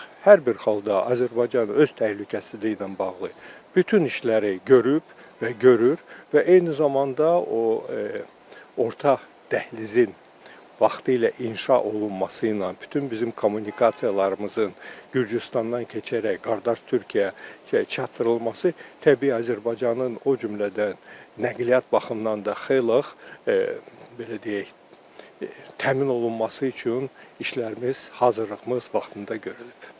Ancaq hər bir halda Azərbaycan öz təhlükəsizliyi ilə bağlı bütün işləri görüb və görür və eyni zamanda o orta dəhlizin vaxtilə inşa olunması ilə bütün bizim kommunikasiyalarımızın Gürcüstandan keçərək qardaş Türkiyəyə çatdırılması təbii Azərbaycanın o cümlədən nəqliyyat baxımından da xeyli belə deyək təmin olunması üçün işlərimiz, hazırlığımız vaxtında görülüb.